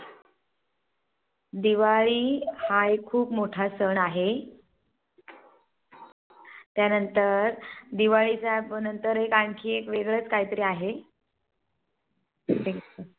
दिवाळी हा एक खूप मोठा सण आहे त्यांनतर दिवाळीच्या नंतर एक आणखी एक वेगळच काहीतरी आहे?